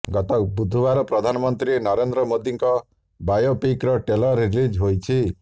ଗତ ବୁଧବାର ପ୍ରଧାନମନ୍ତ୍ରୀ ନରେନ୍ଦ୍ର ମୋଦିଙ୍କ ବାୟୋପିକର ଟ୍ରେଲର ରିଲିଜ ହୋଇଛି